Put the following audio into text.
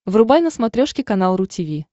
врубай на смотрешке канал ру ти ви